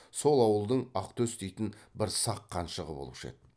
сол ауылдың ақтөс дейтін бір сақ қаншығы болушы еді